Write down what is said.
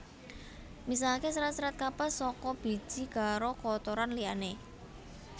Misahke serat serat kapas saka biji karo kotoran liyane